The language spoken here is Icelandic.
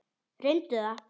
Reyndu það.